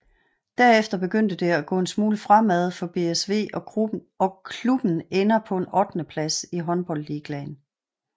Derefter begyndte det at gå en smule fremad for BSV og klubben ender på en ottende plads i håndboldligaen